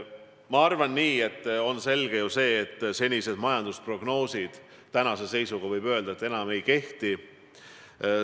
Ma arvan, et on selge, et senised majandusprognoosid enam ei kehti.